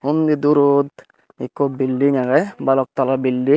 undi durot ekko bilding agey balok talla bilding